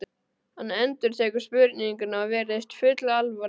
Hann endurtekur spurninguna og virðist full alvara.